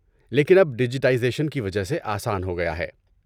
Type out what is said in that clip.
لیکن اب ڈیجیٹائزیشن کی وجہ سے آسان ہو گیا ہے۔